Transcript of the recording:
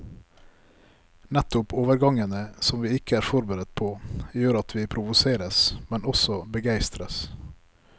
Nettopp overgangene, som vi ikke er forberedt på, gjør at vi provoseres, men også begeistres.